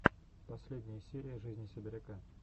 последняя серия жизни сибиряка